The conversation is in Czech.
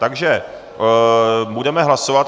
Takže budeme hlasovat.